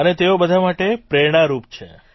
અને તેઓ બધા માટે પ્રેરણારૂપ છે